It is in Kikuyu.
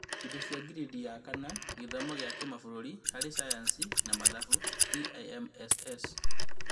Indo cia girĩndi ya kana gĩthomo gĩa kĩmabũrũri harĩ Sayansi na mathabu TIMSS